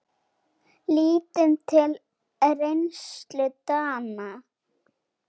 Lítum til reynslu Dana.